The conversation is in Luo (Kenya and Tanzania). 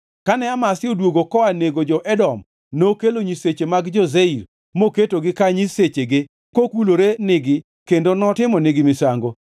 Kane Amazia odwogo koa nego jo-Edom nokelo nyiseche mag jo-Seir moketogi ka nyisechege kokulore nigi kendo notimonigi misango.